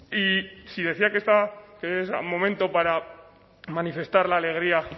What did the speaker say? y si decía que es momento para manifestar la alegría